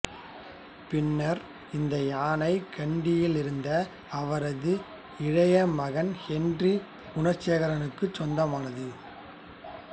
பின்னர் இந்த யானை கண்டியிலிருந்த அவரது இளைய மகன் ஹென்றி குணசேகராவுக்குச் சொந்தமானது